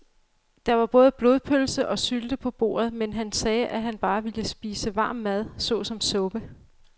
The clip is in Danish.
Der var både blodpølse og sylte på bordet, men han sagde, at han bare ville spise varm mad såsom suppe.